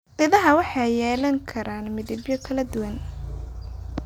Idaha waxay yeelan karaan midabyo kala duwan.